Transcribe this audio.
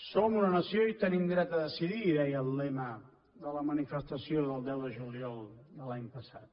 som una nació i tenim dret a decidir deia el lema de la manifestació del deu de juliol de l’any passat